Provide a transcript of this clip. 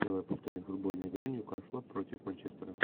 давай повторим футбольную игру ньюкасла против манчестера